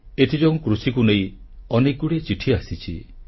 ଏଥିଯୋଗୁଁ କୃଷିକୁ ନେଇ ଅନେକଗୁଡ଼ିଏ ଚିଠି ଆସିଛି